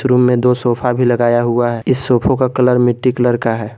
Room में दो sofa भी लगाया हुआ है इस सोफो का कलर मिट्टी कलर का है।